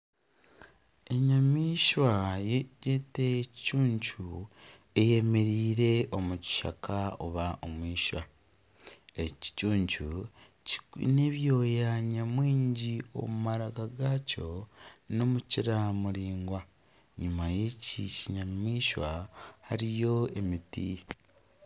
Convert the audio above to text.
Enyamaishwa gyete ekicuncu eyemereire omu kishaka oba omu eishwa. Eki kicuncu kiine ebyoya nyamwingi omu maraka gakyo n'omukira muraingwa. Enyima y'eki kinyamaishwa hariyo emiti.